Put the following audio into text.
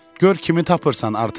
Gör kimi tapırsan, Artemon.